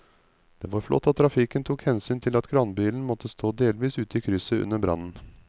Det var flott at trafikken tok hensyn til at kranbilen måtte stå delvis ute i krysset under brannen.